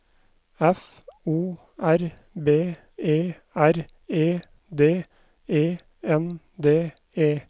F O R B E R E D E N D E